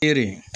E de